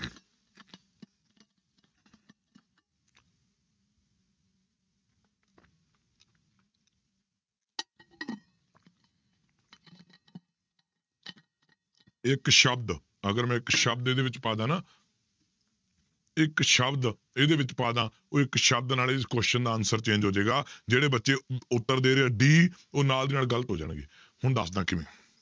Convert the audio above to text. ਇੱਕ ਸ਼ਬਦ ਅਗਰ ਮੈਂ ਇੱਕ ਸ਼ਬਦ ਇਹਦੇ ਵਿੱਚ ਪਾ ਦੇਵਾਂ ਨਾ ਇੱਕ ਸ਼ਬਦ ਇਹਦੇ ਵਿੱਚ ਪਾ ਦੇਵਾਂ, ਉਹ ਇੱਕ ਸ਼ਬਦ ਨਾਲ ਇਸ question ਦਾ answer change ਹੋ ਜਾਏਗਾ, ਜਿਹੜੇ ਬੱਚੇ ਉੱਤਰ ਦੇ ਰਹੇ ਆ d ਉਹ ਨਾਲ ਦੀ ਨਾਲ ਗ਼ਲਤ ਹੋ ਜਾਣਗੇ, ਹੁਣ ਦੱਸਦਾਂ ਕਿਵੇਂ